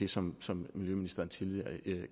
som som miljøministeren tidligere